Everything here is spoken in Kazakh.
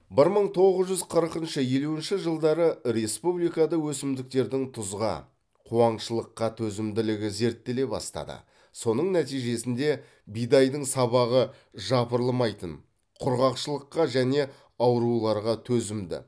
бір мың тоғыз жүз қырықыншы елуінші жылдары республикада өсімдіктердің тұзға қуаңшылыққа төзімділігі зерттеле бастады соның нәтижесінде бидайдың сабағы жапырылмайтын құрғақшылыққа және ауруларға төзімді